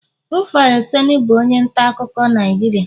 Rufia oseni bụ onye nta akụkọ Naijiria